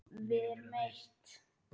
Við erum eitt.